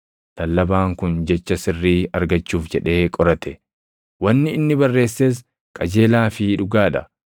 Lallabaan kun jecha sirrii argachuuf jedhee qorate; wanni inni barreesses qajeelaa fi dhugaa dha.